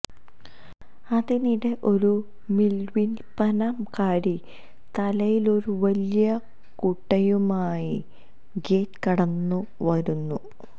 അതിനിടെ ഒരു മീന്വില്പ്പനക്കാരി തലയിലൊരു വലിയ കുട്ടയുമായി ഗേറ്റ് കടന്നു വരുന്നു